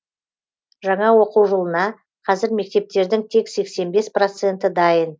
жаңа оқу жылына қазір мектептердің тек сексен бес проценті дайын